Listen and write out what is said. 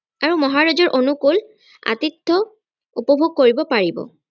আৰু মহাৰাজৰ অনুকুল আতিথ্য উপভোগ কৰিব পাৰিব